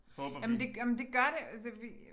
Jamen det jamen det gør det altså vi